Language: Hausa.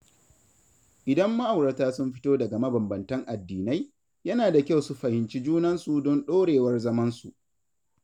Idan ma’aurata sun fito daga mabanbantan addinai, yana da kyau su fahimci junansu don ɗorewar zamansu.